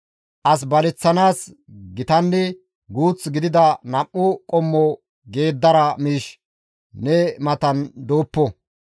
As baleththanaas gitanne guth gidida nam7u qommo geeddara miishshi ne matan dooppo.